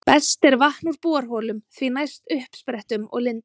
Best er vatn úr borholum, því næst uppsprettum og lindum.